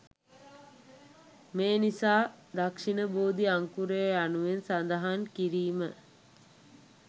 මේ නිසා දක්ෂිණ බෝධි අංකුරය යනුවෙන් සඳහන් කිරීම